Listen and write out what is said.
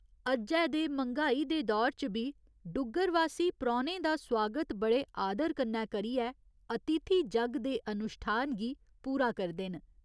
अज्जै दे मंग्हाई दे दौर च बी डुग्गर वासी परौह्‌नें दा सुआगत बड़े आदर कन्नै करियै 'अतिथि जग्ग' दे अनुश्ठान गी पूरा करदे न।